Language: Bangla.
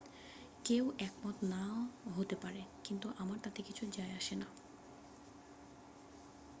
"""কেউ একমত নাও হতে পারে কিন্তু আমার তাতে কিছু যাই আসে না""।